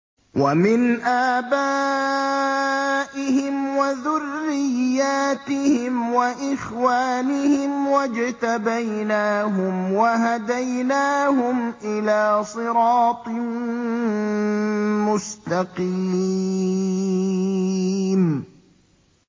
وَمِنْ آبَائِهِمْ وَذُرِّيَّاتِهِمْ وَإِخْوَانِهِمْ ۖ وَاجْتَبَيْنَاهُمْ وَهَدَيْنَاهُمْ إِلَىٰ صِرَاطٍ مُّسْتَقِيمٍ